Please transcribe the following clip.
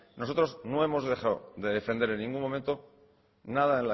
nosotros no hemos dejado de defender en ningún momento